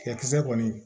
Tigɛkisɛ kɔni